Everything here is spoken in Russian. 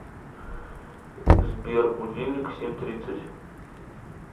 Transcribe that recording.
сбер будильник семь тридцать